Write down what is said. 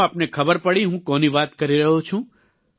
શું આપને ખબર પડી હું કોની વાત કરી રહ્યો છું